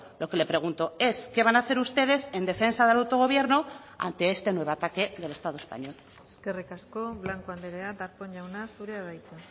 lo que le pregunto es qué van a hacer ustedes en defensa del autogobierno ante este nuevo ataque del estado español eskerrik asko blanco andrea darpón jauna zurea da hitza